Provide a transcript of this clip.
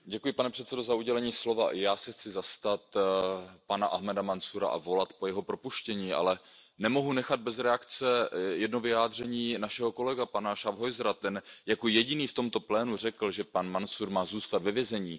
Pane předsedající, já se chci zastat pana Ahmada Mansúra a volat po jeho propuštění, ale nemohu nechat bez reakce jedno vyjádření našeho kolegy, pana Schaffhausera, ten jako jediný v tomto plénu řekl, že pan Mansúr má zůstat ve vězení.